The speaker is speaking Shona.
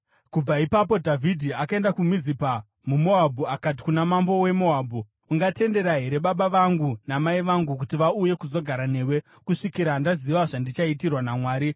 Kubva ipapo Dhavhidhi akaenda kuMizipa muMoabhu akati kuna mambo weMoabhu, “Ungatendera here baba vangu namai vangu kuti vauye kuzogara newe kusvikira ndaziva zvandichaitirwa naMwari?”